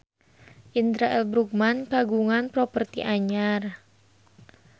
Indra L. Bruggman kagungan properti anyar